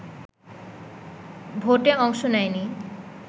ভোটে অংশ নেয়নি